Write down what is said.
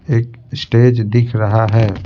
एक स्टेज दिख रहा है--